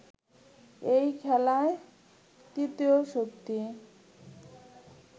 এই খেলায় তৃতীয় শক্তি